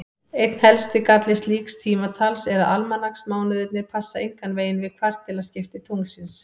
Einn helsti galli slíks tímatals er að almanaksmánuðirnir passa engan veginn við kvartilaskipti tunglsins.